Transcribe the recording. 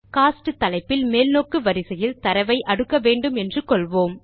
ghosts தலைப்பில் மேல்நோக்கு வரிசையில் தரவை அடுக்க வேண்டும் என்று கொள்வோம்